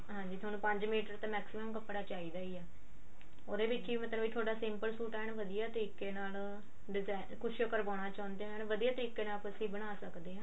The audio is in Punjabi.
ਹਾਂਜੀ ਤੁਹਾਨੂੰ ਪੰਜ ਮੀਟਰ maximum ਕੱਪੜਾ ਚਾਹਿਦਾ ਹੀ ਏ ਉਹਦੇ ਵਿੱਚ ਹੀ ਮਤਲਬ ਤੁਹਾਡਾ simple ਸੂਟ ਐਨ ਵਧੀਆ ਤਰੀਕੇ ਨਾਲ design ਕੁੱਝ ਕਰਵਾਨਾ ਚਾਹੁੰਦੇ ਐਨ ਵਧੀਆ ਤਰੀਕੇ ਨਾਲ ਤੁਸੀਂ ਬਣਾ ਸਕਦੇ ਆ